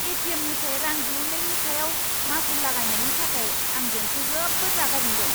ए.टि.एम.निफ्राय रां दिहुन्नायनि सायाव मासुल लागायनायनि थाखाय आं बेंकखौ जोबोद रागा जोंदों!